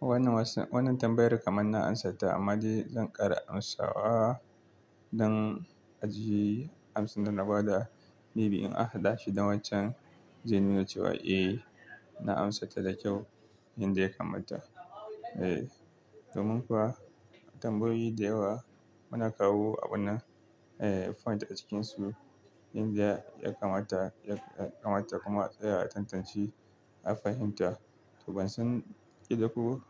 Wanan tambayar kaman na amsata amma zan ƙara amsawa don a ji an san nan ba da may be in an haɗa shi da wancan. Zai nuna cewa "Eh na amsa ta da kyau." Yanda ya kamata. Domin kuwa tambayoyi da yawa muna kawo abuna, eh point a cikinsu. Yanda ya kamata kuma tsaya a tantance a fahimta. Ban san kila ko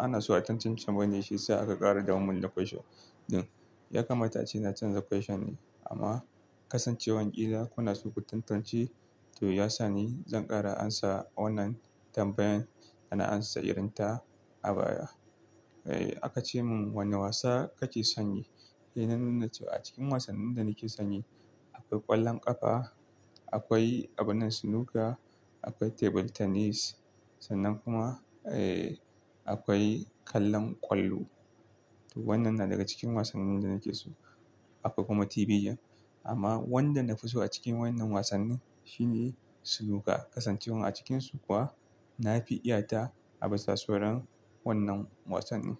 ana so tantancewa bane sai aka ƙara da mun na question din. Ya kamata ina canza question amma kasancewar kila kuna so ku tantance, to ya sa ne zan ƙara amsa wannan tambayan ana amsa irin ta a baya akace mun "Wanne wasa kake sanye?" Eh na nuna cewa a cikin wasannin da nake sanye, akwai ƙwallon ƙafa, akwai abinan snooker, akwai table tennis sannan kuma akwai kallon kwallo. Wannan na daga cikin wasannin da nake so. Akwai kuma TV game. Amma wanda nafi so a cikin waƴannan wasannin shine snooker. Kasancewar a cikinsu kuwa na fi iyata a bisa sauran wannan wasannin.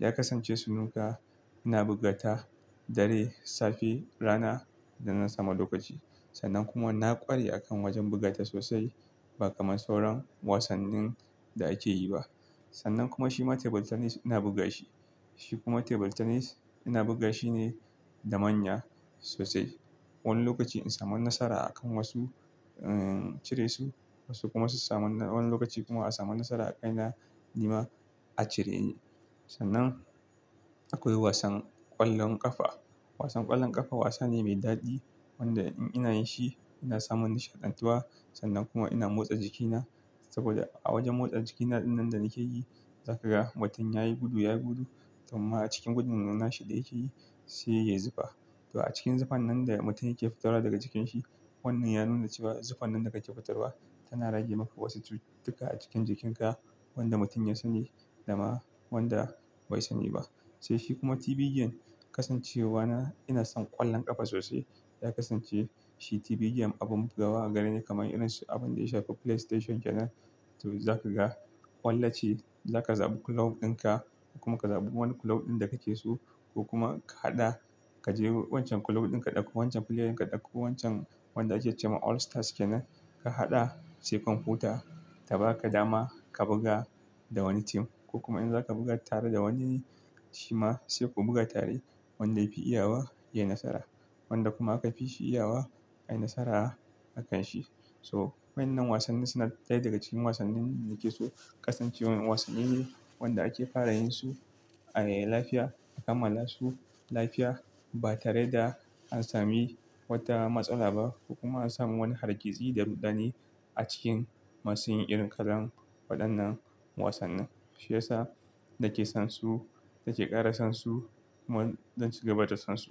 Ya kasance snooker ina buga ta dare, safe, rana da na samu lokaci. Sannan kuma na ƙware a kan wajen buga ta sosai ba kamar sauran wasannin da ake yi ba. Sannan kuma shi ma table tennis ina buga shi. Shi kuma table tennis ina buga shine da manya sosai. Wani lokaci in samu nasara a kan wasu incire su, wasu kuma wani lokaci kuma a samu nasara a kaina nima a cire ni. Sannan akwai wasan ƙwallon ƙafa. Wasan ƙwallon ƙafa wasa ne mai daɗi wanda in ina yi shi ina samun nishaɗantuwa. Sannan kuma ina motsa jikina saboda a wajen motsa jikina ɗinnan da nake yi, za ka ga mutum yayi gudu, yayi gudu. Domin kuma a cikin gudun nan na shi da yake yi, sai ya yi zufa. To a cikin zuffan nan da mutum yake fitarwa daga jikin shi, wannan ya nuna cewa zuffan nan da kake fitarwa tana rage maka wasu cututtuka a cikin jikinka. Wanda mutum ya sani da ma wanda bai sani ba. To shi kuma TV game kasancewa na ina son ƙwallon ƙafa sosai ya kasance shi TV game abin bugawa agare ni kamar irin su abin da ya shafi play station ke nan. To za ka ga kwallace za ka zaɓi kulob ɗin ka kuma ka zaɓi wani kulob ɗin da ka ke so. Ko kuma ka haɗa, ka je wancan kulob ɗin ka ɗauko wancan player, ka ɗauko wancan wanda ake ce ma all stars ke nan. Ka haɗa sai kwamfuta ta baka dama, ka buga da wani tim ko kuma in zaka buga tare da wani shi ma sai ku buga tare. Wanda ya fi iyawa ya yi nasara. Wanda kuma aka fi shi iyawa, ai nasara akanshi. So wannan wasannin suna daya daga cikin wasannin nake so. Kasancewan wasanni ne wanda ake fara yin su a yi lafiya, a kammala su lafiya ba tare da an sami wata matsala ba. Kuma an samu wani hargitsi da rudani a cikin masu yin irin kalan waɗannan wasannin. Shiya sa na ke son su, na ke ƙara son su kuma zon ci gaba da son su.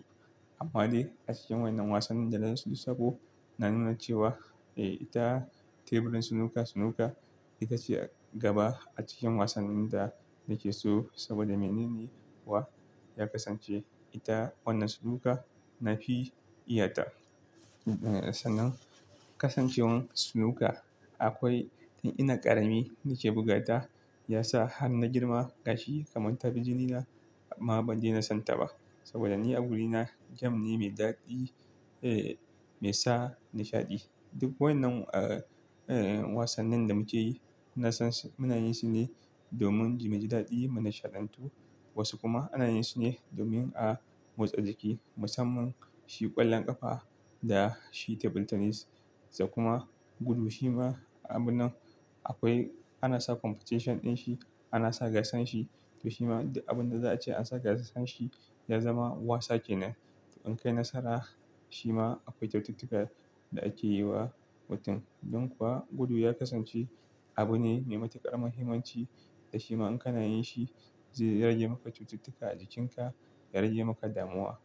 Amma dai a cikin wannan wasannin da na lissabo na nuna cewa eh ita teburin snooker, snooker itace gaba a cikin wasannin da nake so. Saboda menene kuwa? Ya kasance ita wannan snooker na fi iyata. Sannan kasancewar snooker akwai in ina ƙarami nake buga ta ya sa har na girma gashi kamar tabijinina. Amma ban daina son ta ba saboda ni a wurina game ne mai daɗi, eh mai sa nishaɗi. Duk waƴannan wasannin da muke yi ina son su. Muna yin su ne domin muji daɗi, mu nishaɗantu. Wasu kuma ana yin su ne domin a motsa jiki musamman shi ƙwallon ƙafa da shi table tennis. Kuma gudu shi ma abunan akwai ana sa competition din shi, ana sa gasan shi. To shi ma duk abun da za a ce an saka gasan shi ya zama wasa ke nan. In kai nasara shi ma akwai cututtuka da ake yi wa mutum. Don kuwa gudu ya kasance abu ne mai ƙaramin himanci da shi ma in kana yin shi zai rage maka cututtuka a jikinka, ya rage maka damuwa.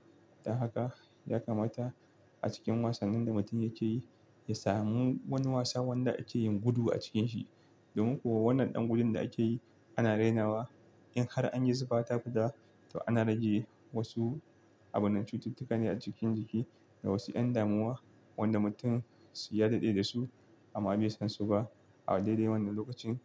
Don haka ya kamata a cikin wasannin da mutum yake yi, ya sami wani wasa wanda ake yin gudu a cikin shi. Domin kuwa wannan ɗan gudun da ake yi ana rainawa. In har an yi zufa ta fiɗa, to ana rage wasu abunan cututtuka ne a cikin jiki da wasu ƴan damuwa wanda mutum su ya daɗe da su amma bai san su ba a daidai wannan lokacin zai.